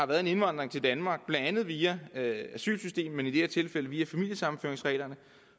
været en indvandring til danmark blandt andet via asylsystemet men i det her tilfælde via familiesammenføringsreglerne